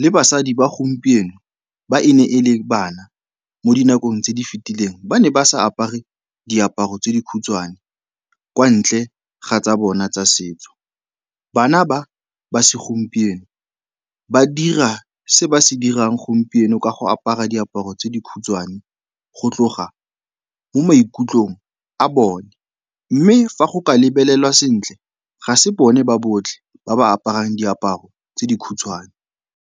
le basadi ba gompieno ba e ne e le bana mo dinakong tse di fetileng ba ne ba sa apare diaparo tse di khutshwane kwa ntle ga tsa bona tsa setso. Bana ba ba segompieno, ba dira se ba se dirang gompieno ka go apara diaparo tse di khutshwane go tloga mo maikutlong a bone, mme fa go ka lebelelwa sentle, ga se bone ba botlhe ba ba aparang diaparo tse di khutshwane.